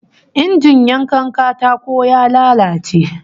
Injin yankan katako ya lalace